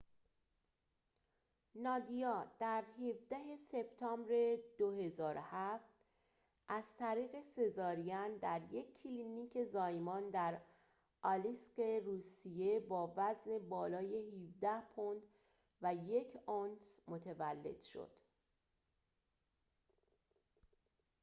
نادیا در ۱۷ سپتامبر ۲۰۰۷ از طریق سزارین در یک کلینیک زایمان در آلیسک روسیه با وزن بالای ۱۷ پوند و ۱ اونس متولد شد